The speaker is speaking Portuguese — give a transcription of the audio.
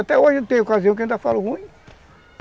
Até hoje tem ocasião que eu ainda falo ruim.